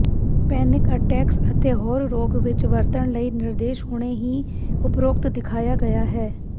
pancreatitis ਅਤੇ ਹੋਰ ਰੋਗ ਵਿੱਚ ਵਰਤਣ ਲਈ ਨਿਰਦੇਸ਼ ਹੁਣੇ ਹੀ ਉਪਰੋਕਤ ਦਿਖਾਇਆ ਗਿਆ ਹੈ